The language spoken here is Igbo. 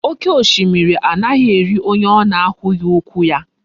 Oke oshimiri anaghi eri onye ona ahughi ukwu ya